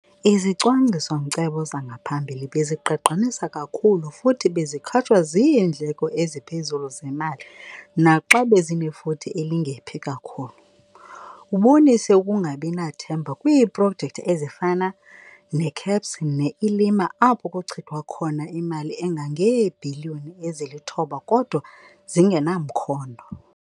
Izicwangciso-nkcebo zangaphambili bezigqagqanisa kakhulu futhi bezikhatshwa ziindleko eziphezulu zemali naxa bezinefuthe elingephi kakhulu. Ubonise ukungabi nathemba kwiiprojekthi ezifana neCAPS neILIMA apho kuchithwa khona imali engangeebhiliyoni ezili-9 kodwa zingenamkhondo.